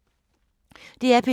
DR P2